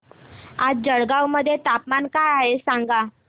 आज जळगाव मध्ये तापमान काय आहे सांगा